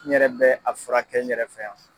N yɛrɛ bɛ a furakɛ n yɛrɛ fɛ yan.